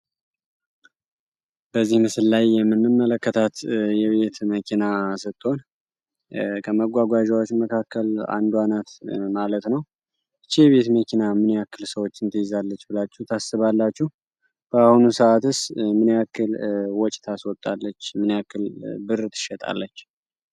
በዚህ ምስል ላይ የምንም መለከታት የቢትት መኪና ስጥትሆን ከመጓጓዣዎች መካከል አንዷ ናት ማለት ነው እቼ የቤት መኪና ምኛአክል ሰዎችን ተይዛለች ብላችሁ ታስባላችሁ በአሁኑ ሰዓት እስ ምኔአክል ወጭ ታስወጣለች ምንአክል ብር ትሸጣለች?